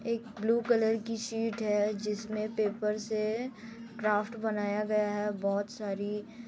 एक blue colour की sheet है जिसमे पेपर से ड्राफ्ट बनाया गया है बहुत सारी--